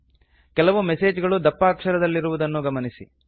ಕೆಲವು ಮೆಸೇಜ್ ಗಳು ದಪ್ಪ ಅಕ್ಷರದಲ್ಲಿರುವುದನ್ನು ಗಮನಿಸಿ